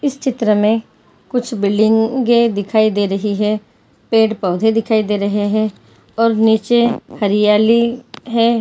इस चित्र में कुछ बिल्डिंगे दिखाई दे रही हैं पेड़ पौधे दिखाई दे रहे हैं और नीचे हरियाली है।